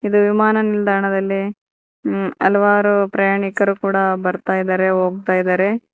ಇದು ವಿಮಾನ ನಿಲ್ದಾಣದಲ್ಲಿ ಹಲವಾರು ಪ್ರಯಾಣಿಕರು ಕೂಡ ಬರ್ತಾಯಿದಾರೆ ಹೋಗ್ತಾಯಿದಾರೆ.